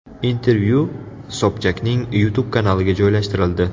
Intervyu Sobchakning YouTube kanaliga joylashtirildi .